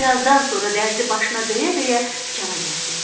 Birazdan sonra dərzi başına döyə-döyə dükana gəldi.